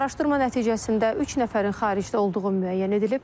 Araşdırma nəticəsində üç nəfərin xaricdə olduğu müəyyən edilib.